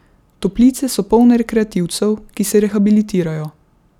Toplice so polne rekreativcev, ki se rehabilitirajo.